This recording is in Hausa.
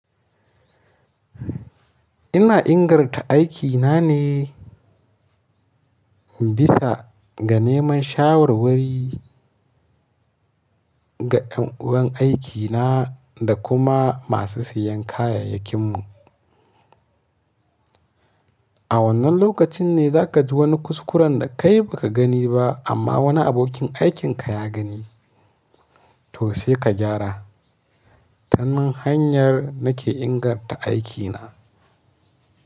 Ina inganta aiki na ne bisa ga neman shawarwari ga yan uwan aikina da kuma masu siyan kayayyakinmu. A wannan lokacin ne za ka ji wani kuskuren da kai ba ka gani ba amma wani abokin aikin ka ya gani to sai ka gyara. Ta nan hanyar nake inganta aikina.